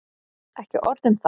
Ekki orð um það!